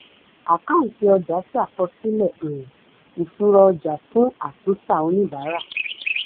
àkáǹtì ọjà ṣàkọsílẹ̀ um ìṣúra ọjà fún atúntà oníbàárà.